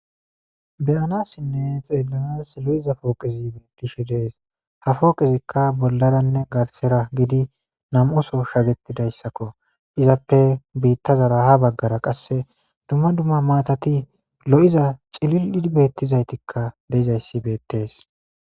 beyanassinne xeellanas lo7iza pooqezi beettishe dees ha fooqezikka bollaranne garsera gidi nam7uso shagetidayssakko izappe biitta zara ha baggara qasse dumma dumma maatati lo7iza cili7id beettizaytikka deizayssi beettees